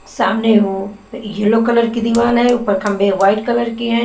सामने वो yellow colour की दीवाल है ऊपर खम्बे वाइट कलर के हैं--